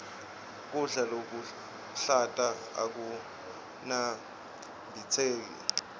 kudla lokuhlata akunambitseki